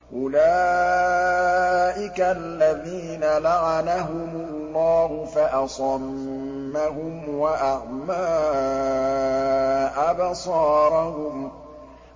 أُولَٰئِكَ الَّذِينَ لَعَنَهُمُ اللَّهُ فَأَصَمَّهُمْ وَأَعْمَىٰ أَبْصَارَهُمْ